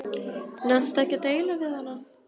Nennti ekki að deila við hana.